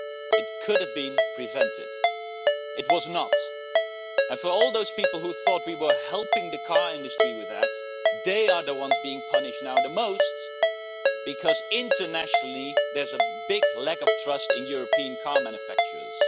It could have been prevented. It was not. For all those people who thought we were helping the car industry with that they are the ones being punished the most, because internationally there is a big lack of trust in European car manufacturers.